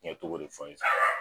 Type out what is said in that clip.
N ye tɔgɔ de fɔ ye sisan